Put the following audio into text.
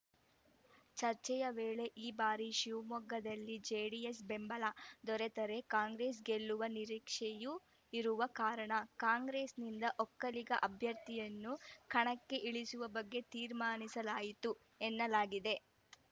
ಚರ್ಚೆಯ ವೇಳೆ ಈ ಬಾರಿ ಶಿವಮೊಗ್ಗದಲ್ಲಿ ಜೆಡಿಎಸ್‌ ಬೆಂಬಲ ದೊರೆತರೆ ಕಾಂಗ್ರೆಸ್‌ ಗೆಲ್ಲುವ ನಿರೀಕ್ಷೆಯು ಇರುವ ಕಾರಣ ಕಾಂಗ್ರೆಸ್‌ನಿಂದ ಒಕ್ಕಲಿಗ ಅಭ್ಯರ್ಥಿಯನ್ನು ಕಣಕ್ಕೆ ಇಳಿಸುವ ಬಗ್ಗೆ ತೀರ್ಮಾನಿಸಲಾಯಿತು ಎನ್ನಲಾಗಿದೆ